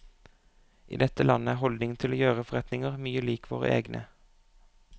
I dette landet er holdningen til å gjøre forretninger mye lik våre egne.